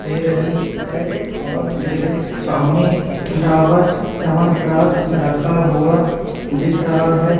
दे रहीं हैं और मेरे सामने डाबर चवनप्रास रखा हुवा दिख रहा हैं।